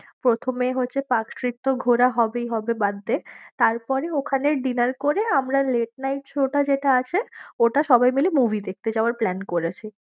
প্রথমে তো পার্কস্ট্রিট তো ঘোরা হবেই হবে, বাদ দে তারপরে ওখানে dinner করে আমরা late night show টা যেটা আছে, ওটা সবাই মিলে movie দেখতে যাওয়ার plan করেছি।